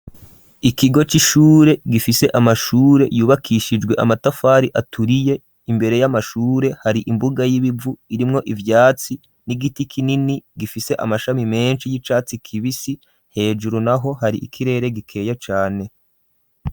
ikigo c'ishure gifise amashure yubakishijwe amatafari aturiye imbere y'amashure hari imbuga y'ibivu irimwo ivyatsi n'igiti kinini gifise amashami menshi y'icatsi kibisi hejuru naho hari ikirere gikeye cane.